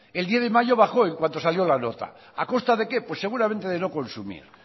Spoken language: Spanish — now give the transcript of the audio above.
el diez de mayo bajó en cuanto salió la nota a costa de qué pues seguramente de no consumir